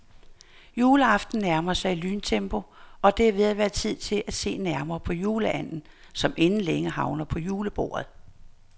Juleaften nærmer sig i lyntempo, og det er ved at være tid til at se nærmere på juleanden, som inden længe havner på julebordet.